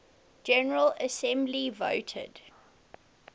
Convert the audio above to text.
general assembly voted